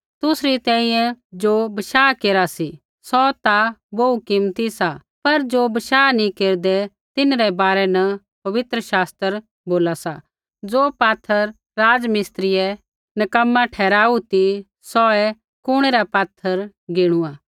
तुसरी तैंईंयैं ज़ो बशाह केरा सी सौ ता बोहू कीमती सा पर ज़ो बशाह नी केरदै तिन्हरै बारै न पवित्र शास्त्र बोला सा ज़ो पात्थर राज़मिस्त्रियै नक्कमा ठहराऊ ती सौहै कुणै रा पात्थर गिणुआ